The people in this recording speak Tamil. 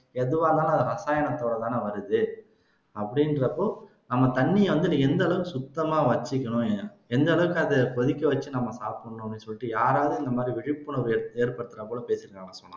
எதுவா இருந்தாலும் அது ரசாயனத்தோடதான வருது அப்படிங்கிறப்போ நம்ம தண்ணியை வந்து எந்த ஆளவுக்கு சுத்தமா வச்சுக்கணும் எந்த அளவுக்கு அதை கொதிக்க வச்சு நம்ம சாப்பிடனும்னு அப்படின்னு சொல்லிட்டு யாராவது இந்த மாதிரி விழிப்புணர்வு ஏற்படுத்துறமாதிரி பேசிஇருக்காங்களா